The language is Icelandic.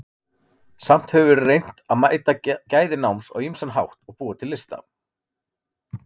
Samt hefur verið reynt að meta gæði náms á ýmsan hátt og búa til lista.